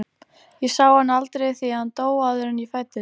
Ég sá hann aldrei því að hann dó áður en ég fæddist.